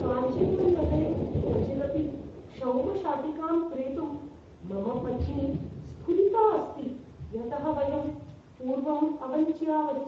काञ्चीपुरम् नगरे क्वचिदपि क्षौमशाटिकां क्रेतुं मम पत्नी स्ऴुरिता अस्ति, यतः वयं पूर्वं अवञ्च्यावहि।